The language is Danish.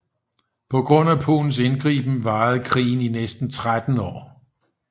På grund af Polens indgriben varede krigen i næsten 13 år